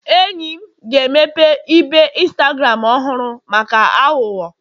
enyi m ga-emepe ibe Instagram ọhụrụ maka aghụghọ